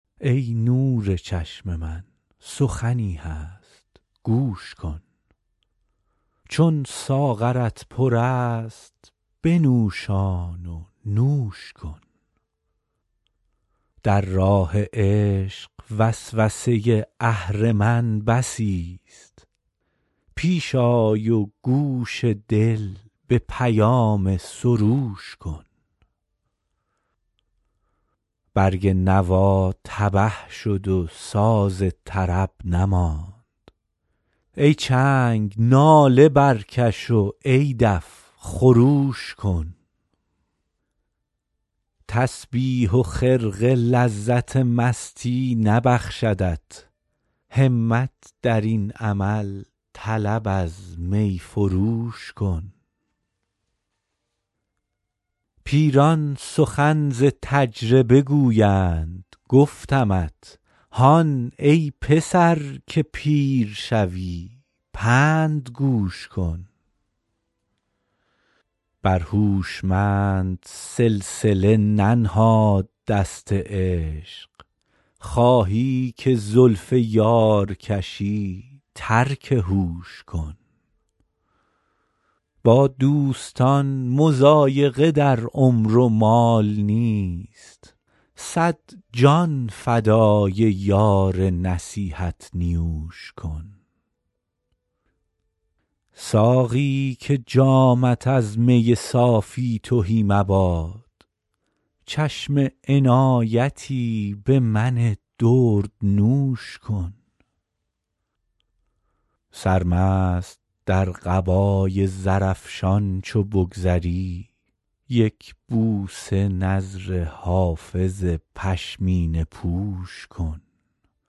ای نور چشم من سخنی هست گوش کن چون ساغرت پر است بنوشان و نوش کن در راه عشق وسوسه اهرمن بسیست پیش آی و گوش دل به پیام سروش کن برگ نوا تبه شد و ساز طرب نماند ای چنگ ناله برکش و ای دف خروش کن تسبیح و خرقه لذت مستی نبخشدت همت در این عمل طلب از می فروش کن پیران سخن ز تجربه گویند گفتمت هان ای پسر که پیر شوی پند گوش کن بر هوشمند سلسله ننهاد دست عشق خواهی که زلف یار کشی ترک هوش کن با دوستان مضایقه در عمر و مال نیست صد جان فدای یار نصیحت نیوش کن ساقی که جامت از می صافی تهی مباد چشم عنایتی به من دردنوش کن سرمست در قبای زرافشان چو بگذری یک بوسه نذر حافظ پشمینه پوش کن